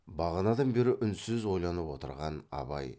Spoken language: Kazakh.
бағанадан бері үнсіз ойланып отырған абай